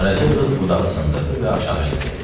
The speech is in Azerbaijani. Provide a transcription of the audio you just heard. Qaraca qız budağı sındırdı və aşağı endi.